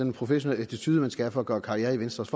en professionel attitude man skal have for at gøre karriere i venstres